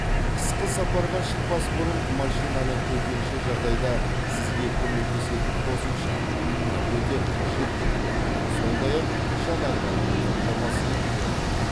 қысқы сапарға шықпас бұрын машинаны төтенше жағдайда сізге көмектесетін қосымша бірақ өте қажет жүкпен сондай ақ жанармаймен қамтамасыз ету керек